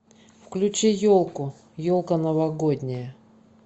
включи елку елка новогодняя